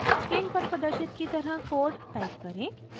screen पर प्रदर्शित की तरह कोड टाइप करें